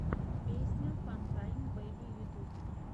песня фантайм бэйби ютьюб